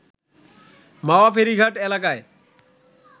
মাওয়া ফেরীঘাট এলাকায়